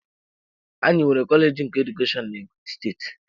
Anyị nwere kọleji nke Edukeshọn na Ebonyi steeti.